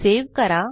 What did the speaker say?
save करा